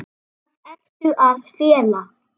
Hvað ertu að fela?